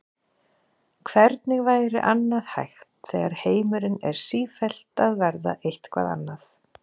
Hvernig væri annað hægt þegar heimurinn er sífellt að verða eitthvað annað?